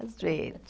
Às vezes.